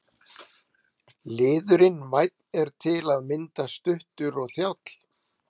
Liðurinn- vænn er til að mynda stuttur og þjáll.